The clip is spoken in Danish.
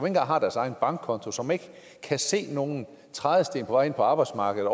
engang har deres egen bankkonto som ikke kan se nogen trædesten på vej ind på arbejdsmarkedet